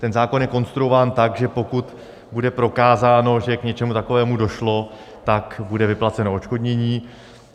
Ten zákon je konstruován tak, že pokud bude prokázáno, že k něčemu takovému došlo, tak bude vyplaceno odškodnění.